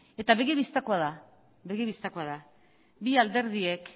eta begi bistakoa da bi alderdiek